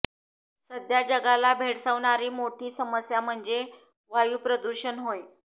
सध्या जगाला भेडसावणारी मोठी समस्या म्हणजे वायू प्रदूषण होय